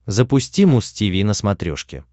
запусти муз тиви на смотрешке